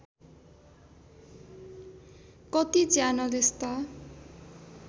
कति च्यानल यस्ता